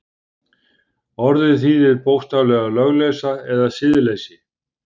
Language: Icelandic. Orðið þýðir bókstaflega lögleysa eða siðleysi.